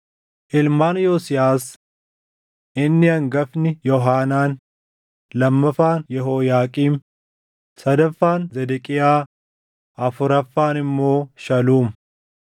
Ilmaan Yosiyaas: Inni hangafni Yoohaanaan, lammaffaan Yehooyaaqiim, sadaffaan Zedeqiyaa, afuraffaan immoo Shaluum.